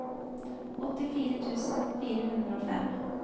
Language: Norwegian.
åttifire tusen fire hundre og fem